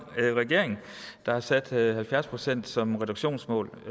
regering der har sat halvfjerds procent som reduktionsmål